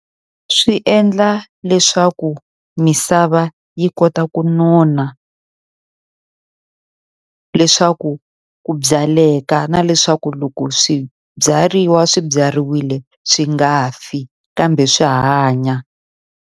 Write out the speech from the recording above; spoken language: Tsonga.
Swi endla leswaku misava yi kota ku nona leswaku ku byaleka. Na leswaku loko swibyariwa swi byariwile swi nga fi kambe swi hanya.